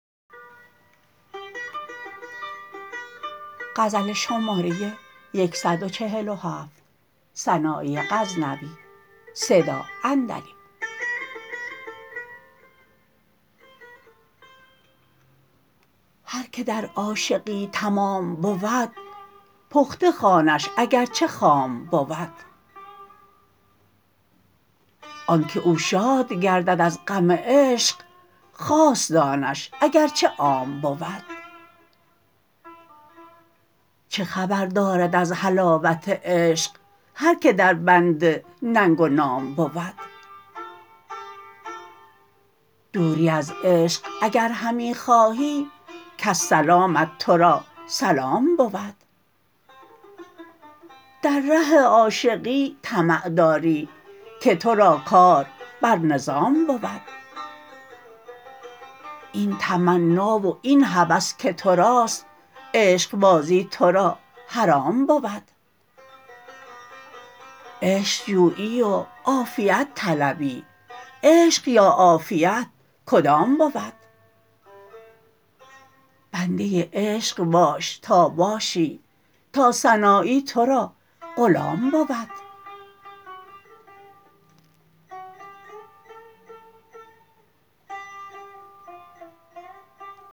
هر که در عاشقی تمام بود پخته خوانش اگر چه خام بود آنکه او شاد گردد از غم عشق خاص دانش اگر چه عام بود چه خبر دارد از حلاوت عشق هر که در بند ننگ و نام بود دوری از عشق اگر همی خواهی کز سلامت ترا سلام بود در ره عاشقی طمع داری که ترا کار بر نظام بود این تمنا و این هوس که تراست عشقبازی ترا حرام بود عشق جویی و عافیت طلبی عشق یا عافیت کدام بود بنده عشق باش تا باشی تا سنایی ترا غلام بود